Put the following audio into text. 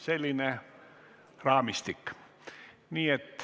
Selline raamistik siis.